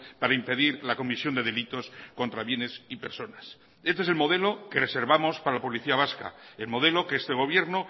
para impedir la comisión de delitos contra bienes y personas este es el modelo que reservamos para la policía vasca el modelo que este gobierno